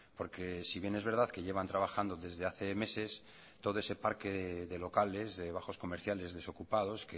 porque si bien es verdad que llevan trabajando desde hace meses todo ese parque de locales de bajos comerciales desocupados